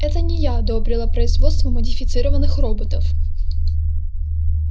это не я одобрила производство модифицированных роботов